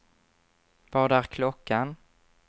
Vad är klockan